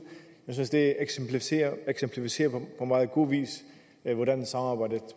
jeg synes det eksemplificerer på meget god vis hvordan samarbejdet